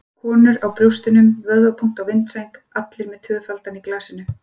Konur á brjóstunum, vöðvabúnt á vindsæng- allir með tvöfaldan í glasinu.